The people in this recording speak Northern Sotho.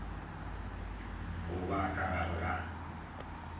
go ba ka gare ga